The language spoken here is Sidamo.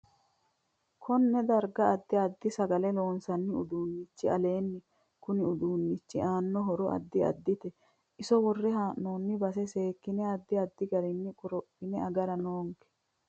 Konne darga addi addi sagale loosinani uduunichinleelanno kuni uduunichi aano. horo addi addite iso worre. henooni. base seekine addi. addi garinni qorophine agara noonke